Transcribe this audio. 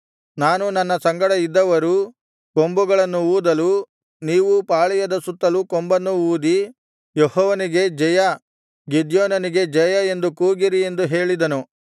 ನಾನೂ ನನ್ನ ಸಂಗಡ ಇದ್ದವರೂ ಕೊಂಬುಗಳನ್ನು ಊದಲು ನೀವೂ ಪಾಳೆಯದ ಸುತ್ತಲೂ ಕೊಂಬನ್ನು ಊದಿ ಯೆಹೋವನಿಗೆ ಜಯ ಗಿದ್ಯೋನನಿಗೆ ಜಯ ಎಂದು ಕೂಗಿರಿ ಎಂದು ಹೇಳಿದನು